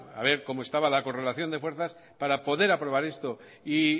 a ver cómo estaba la correlación de fuerzas para poder aprobar esto y